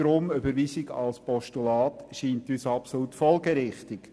Darum scheint uns die Überweisung als Postulat absolut folgerichtig.